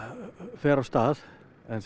fer af stað en sem